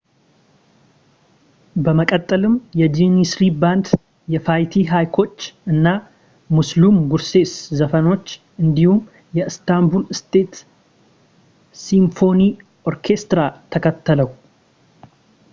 በመቀጠልም የጃኒስሪ ባንድ የፋይቲ ሃይኮች እና ሙስሉም ጉርሴስ ዘፋኞች እንዲሁም የኢስታንቡል ስቴት ሲምፎኒ ኦርኬስትራ ተከተለው